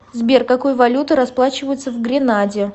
сбер какой валютой расплачиваются в гренаде